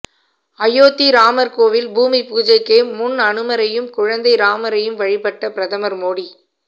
அயோத்தி ராமர் கோவில் பூமி பூஜைக்கு முன் அனுமரையும் குழந்தை ராமரையும் வழிபட்ட பிரதமர் மோடி